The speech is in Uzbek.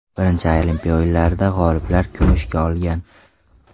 Birinchi Olimpiya o‘yinlarida g‘oliblari kumushga olgan.